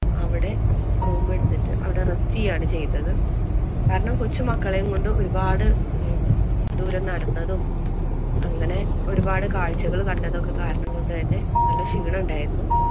അവിടെ room എടുത്തിട്ട് അവിടെ rest ചെയ്യുകയാണ് ചെയ്തത്. കാരണം കൊച്ചുമക്കളെയും കൊണ്ട് ഒരുപാട് ഏർ ദൂരം നടന്നതും, അങ്ങനെ ഒരുപാട് കാഴ്ചകള്‍ കണ്ടതൊക്കെ കാരണം കൊണ്ട് തന്നെ നല്ല ക്ഷീണം ഉണ്ടാരുന്നു.